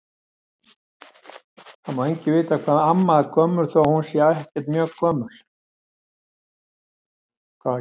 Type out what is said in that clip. Það má enginn vita hvað amma er gömul þó að hún sé ekkert mjög gömul.